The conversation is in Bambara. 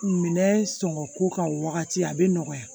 Minɛn sɔngɔ ko ka wagati a bɛ nɔgɔya